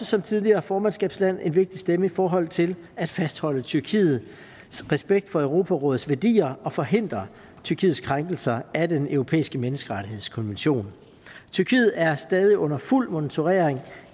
som tidligere formandskabsland en vigtig stemme i forhold til at fastholde tyrkiets respekt for europarådets værdier og forhindre tyrkiets krænkelser af den europæiske menneskerettighedskonvention tyrkiet er stadig under fuld monitorering